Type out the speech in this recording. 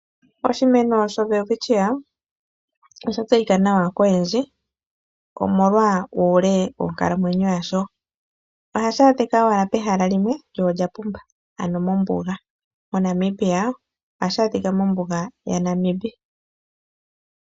Oshimeno showelwitchia osha tseyika nawa koyendji, omolwa uule wonkalamwenyo yasho. Ohashi adhika owala pehala limwe lyo lya pumba, ano mombuga. MoNamibia ohashi adhika mombuga yaNamib.